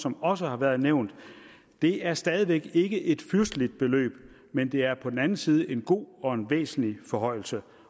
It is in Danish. som også har været nævnt det er stadig væk ikke et fyrsteligt beløb men det er på den anden side en god og en væsentlig forhøjelse